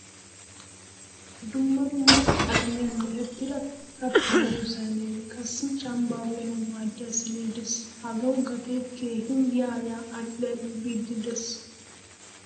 Dumma dumma qalamiyaan merettida katta miyo saynee qassi cambaa uyanawu maadiyaa siine de'ees. Hagawu gate keehin yaa yaa al'i al'i biidi de'ees.